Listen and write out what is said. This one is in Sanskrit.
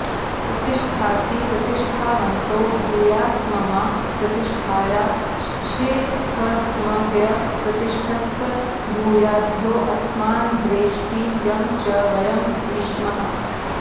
प्रतिष्ठासि प्रतिष्ठावन्तो भूयास्ममा प्रतिष्ठायाश्छिथ्स्मह्यप्रतिष्ठस्स भूयाद्योऽस्मान्द्वेष्टि यं च वयं द्विष्मः